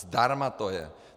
Zdarma to je.